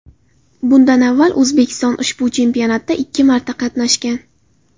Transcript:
Bundan avval O‘zbekiston ushbu chempionatda ikki marta qatnashgan.